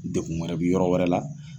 Dekun wɛrɛ bɛ yɔrɔ wɛrɛ la.